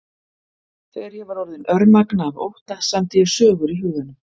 Þegar ég var orðin örmagna af ótta samdi ég sögur í huganum.